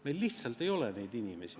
Meil lihtsalt ei ole neid inimesi.